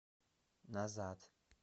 назад